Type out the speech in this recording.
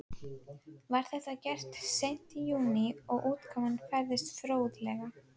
Var þetta gert seint í júní og útkoman næsta fróðleg.